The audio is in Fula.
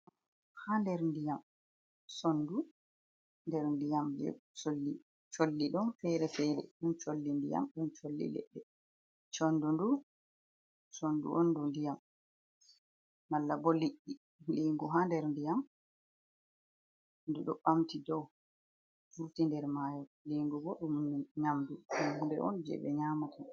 Haa nder ndiyam, sonndu nder ndiyam. je colli ɗon feere-feere, ɗum colli ndiyam, ɗum colli ledde, sonndu, sonndu on ndu ndiyam, malla bo liɗɗi, liingu haa nder ndiyam ndu ɗo ɓamti dow vurti nder maayo, liingu bo ɗum nyamndu on ndu on jey ɓe nyaamata.